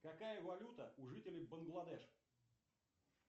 какая валюта у жителей бангладеш